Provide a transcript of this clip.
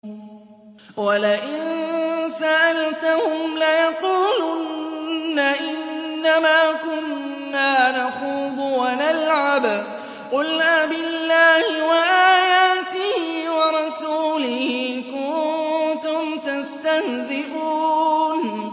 وَلَئِن سَأَلْتَهُمْ لَيَقُولُنَّ إِنَّمَا كُنَّا نَخُوضُ وَنَلْعَبُ ۚ قُلْ أَبِاللَّهِ وَآيَاتِهِ وَرَسُولِهِ كُنتُمْ تَسْتَهْزِئُونَ